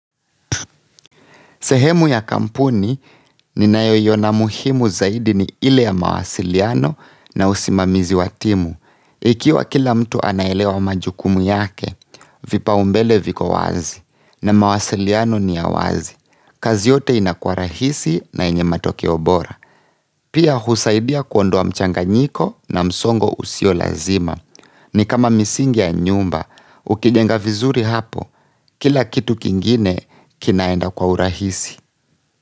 Sehemu ya kampuni ninayo iona muhimu zaidi ni ile ya mawasiliano na usimamizi wa timu. Ikiwa kila mtu anaelewa majukumu yake, vipaumbele viko wazi na mawasiliano ni ya wazi. Kazi yote inakuwa rahisi na yenye matokeo bora. Pia husaidia kuondoa mchanganyiko na msongo usio lazima. Ni kama misingi ya nyumba, ukijenga vizuri hapo kila kitu kingine kinaenda kwa urahisi.